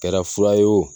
Kɛra fura ye wo